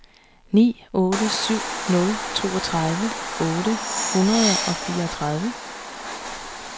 ni otte syv nul toogtredive otte hundrede og fireogtredive